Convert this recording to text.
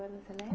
Você lembra?